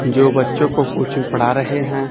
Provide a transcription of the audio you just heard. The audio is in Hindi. जो बच्चों को कोचिंग पढ़ा रहे हैं।